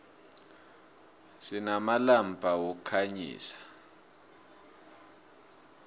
sinamalampa wokukhanyisa